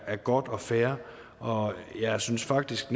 er godt og fair og jeg synes faktisk